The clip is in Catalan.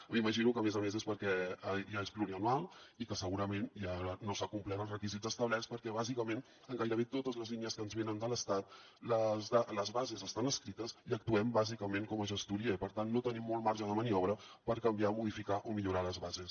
m’imagino que a més a més és perquè és plurianual i perquè segurament no s’han complert els requisits establerts perquè bàsicament en gairebé totes les línies que ens venen de l’estat les bases estan escrites i actuem bàsicament com a gestoria i per tant no tenim molt marge de maniobra per canviar modificar o millorar les bases